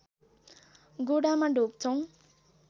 गोडामा ढोग्छौँ